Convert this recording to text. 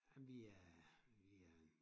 Jamen vi er vi er en